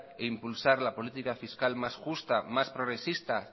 e impulsar la política fiscal más justo más progresista